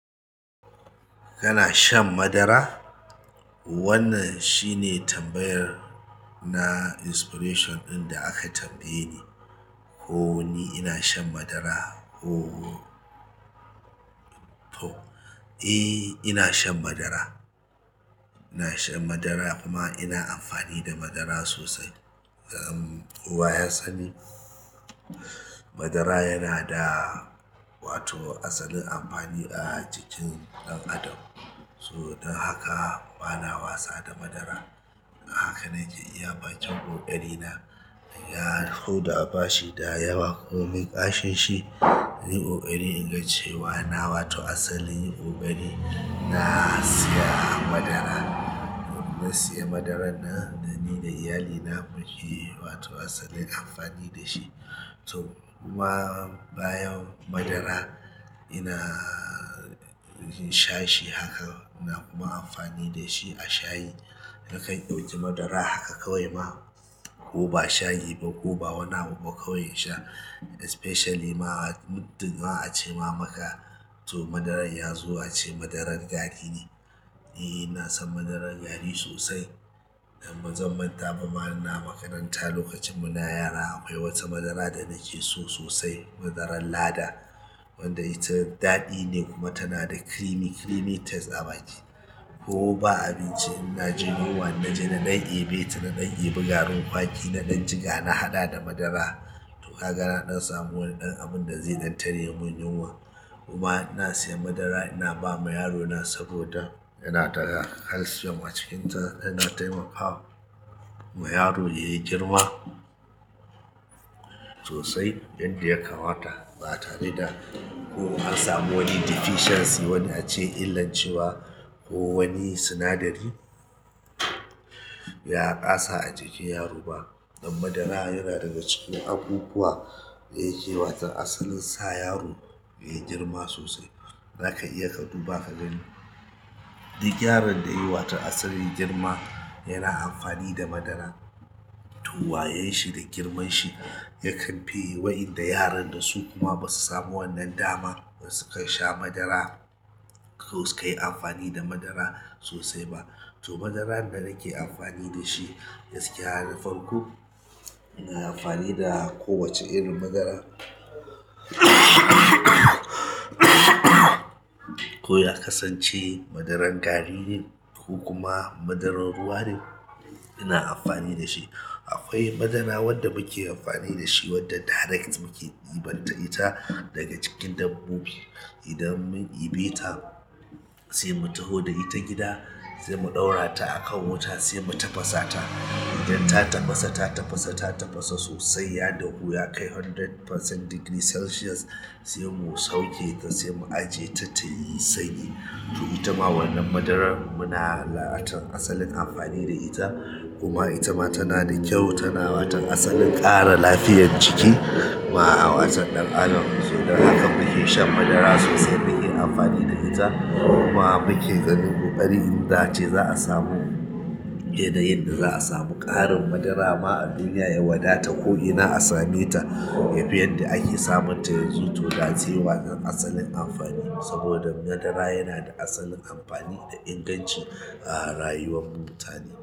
Kana shan madara? Wannan shine tambayar na expression ɗin da aka tambayeni ko ni ina shan madara. Oh! Eh, ina shan madara. Ina shan madara kuma ina amfani da madara sosai. Kowa yasan madara yana da wato asalin amfani a jikin ɗan adam. So dan haka bana wasa da madara. Haka na iya bacin ƙoƙari na, ya huda bashi da yawa kuma ƙarshe shi, yi ƙoƙari ingantacewa na, wato asalin yi ƙoƙari na siya madara. Na siya madarar nan dani da iyalina muyi asalin amfani da shi to, kuma bayan madara ina sha shi haka, ina kuma amfani da shi a shayi. Nakan ɗauki madara haka kawai ma, kuma ba shayi ba kuma ba wani abu kawai in sha. Especially ma, mutum a ce ma maka to madarar ya zo a ce madarar gari ne. Eh, ina son madarar gari sosai. E dan mazan manta ba mana makaranta lokacin muna yara. Akwai wata madara da nake so sosai, madarar lada wadda ita daɗi ne kuma tana da creamy, creamy taste a baki. Ko ba abinci ina jin yunwa in naje na ɗan ɓe, ta na ɗan ɓe garin kwaki, na ɗan jiga na haɗa da madara. To kaga dan samu abun da zai ɗan tare mun yunwa. Kuma ina siya madara ina ba ma yarona saboda yana taga health a cikin sa. Ina taimakawa ma yaro ya yi girma sosai yadda ya kamata ba tare da ko an samu wani deficiency wanda a ce illan cewa ko wani sinadari ya ƙasa a jikin yaro ba. E madara yana daga cikin abubuwa da yake wata asalin sa yaro ya yi girma sosai. Zaka iya ka duba ka gani. Duk yaron da yai wato asalin girma yana amfani da madara. To wayen shi da girman shi ya kamfe wayanda yaran da su kuma ba su samu wannan dama. Basu kai sha damara ko sukai amfani da madara to madarar da nake amfani da shi gaskiya na farko, na amfani da kowace irin madara ko ya kasance madarar gari ne ko kuma madarar ruwa ne ina amfani da shi. Akwai madara wadda muke amfani da shi wadda direct muke ɗiban ta ita daga cikin dabbobi. Idan mun ɗibe ta sai mu taho da ita gida, sai mu ɗaura ta a kan wuta sai mu tafasa ta. Idan ta tafasa, ta tafasa, ta tafasa sosai ya dahu ya kai ɗari% degree celsius sai mu sauke ta sai mu ajiye ta tayi sanyi. To ita ma wannan madarar muna la'atan asalin amfani da ita kuma ita ma tana da kyau. Tana wata asalin ƙara lafiyar jiki ma a wata ɗan adam. So dan haka muke shan madara sosai muke amfani da ita kuma muke ganin ƙoƙari inda ace za a samu, inda yadda za a samu ƙarin madara ma duniya ya wadata ko ina a same ta. Yafi yadda ake samun ta yanzu to gatse wata asalin amfani. Saboda madara yana da asalin amfani da inganci a rayuwan mu mutane.